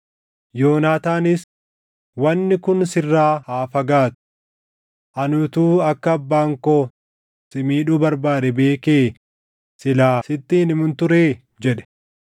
Yoonaataanis, “Wanni kun sirraa haa fagaatu! Ani utuu akka abbaan koo si miidhuu barbaade beekee silaa sitti hin himun turee?” jedhe.